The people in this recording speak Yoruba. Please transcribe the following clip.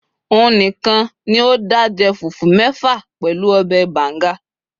òun nìkàn ní o da je fufu mefa pẹlú obe banga